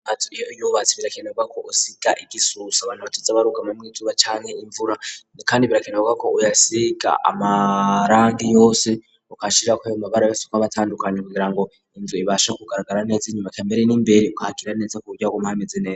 Amazu iyo iyubatse birakenerwa ko usiga igisusa abantu bateze abarugama mw'izuba cane imvura. kayndi birakenerwa ko uyasiga amarangi yose ukashira ko ayomabara kuko abatandukanye kugira ngo inzu ibasha kugaragara neza . Inyuma kambere n'imbere ukakira neza kuburya wo hama hameze neza.